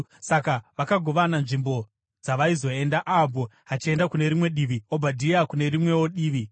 Saka vakagovana nzvimbo dzavaizoenda, Ahabhu achienda kune rimwe divi, Obhadhia kune rimwewo divi.